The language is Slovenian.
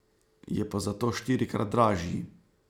Je pa zato štirikrat dražji.